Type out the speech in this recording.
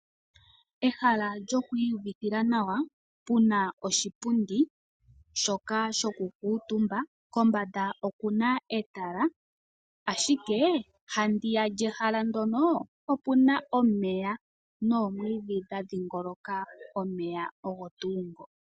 Ehala lyoku iyuvithila nawa puna oshipundi shoka shoku kuutumba kombanda okuna etala ashike ndiya lyehala ndyono opuna omeya nomwiidhi gwadhingoloka omeya ogo tuu ngo.